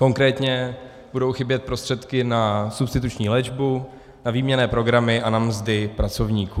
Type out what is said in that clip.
Konkrétně budou chybět prostředky na substituční léčbu, na výměnné programy a na mzdy pracovníků.